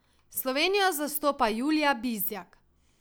Slovenijo zastopa Julija Bizjak.